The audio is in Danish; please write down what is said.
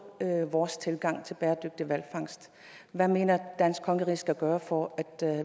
vores tilgang til bæredygtig hvalfangst hvad mener danske kongerige skal gøre for at